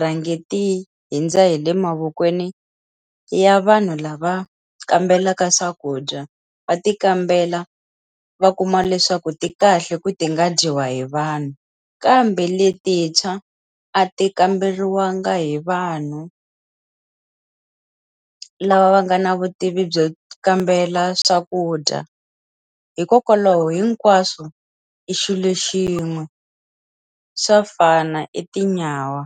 rhange ti hundza hi le mavokweni ya vanhu lava kambelaka swakudya, va ti kambela va kuma leswaku ti kahle ku ti nga dyiwa hi vanhu. Kambe letintshwa, a ti kamberiwangi hi vanhu lava va nga na vutivi byo kambela swakudya. Hikokwalaho hinkwaswo i xilo xin'we, swa fana i tinyawa.